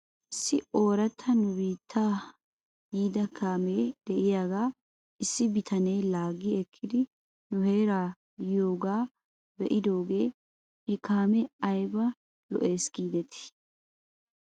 Issi ooratta nu biittaa yiida kaamee de'iyaagaa issi bitanee laaggi ekkidi nu heeraa yiyoogaa be'idoogee he kaamee ayba lo'es giidetii?